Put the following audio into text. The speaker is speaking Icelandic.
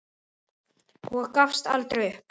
Og gafst aldrei upp.